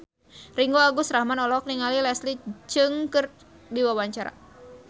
Ringgo Agus Rahman olohok ningali Leslie Cheung keur diwawancara